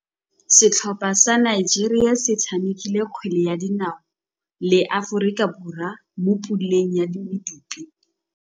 Setlhopha sa Nigeria se tshamekile kgwele ya dinaô le Aforika Borwa mo puleng ya medupe.